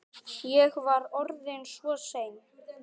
Ég var orðinn svo seinn.